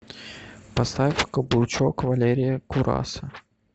поставь каблучок валерия кураса